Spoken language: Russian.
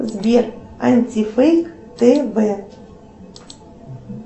сбер антифейк тв